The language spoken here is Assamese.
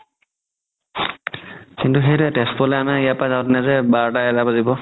কিন্তু সেইটোৱে তেজপুৰৰ পৰা আমাৰ ইয়াৰ পৰা বাৰতা এটা বাজিব